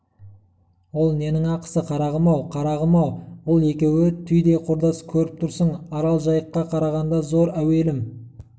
ол ненің ақысы қарағым-ау қарағым-ау бұл екеуі түйдей құрдас көріп тұрсың арал жайыққа қарағанда зор әуелім